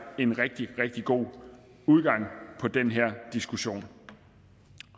en rigtig rigtig god udgang på den her diskussion